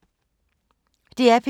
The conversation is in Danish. DR P2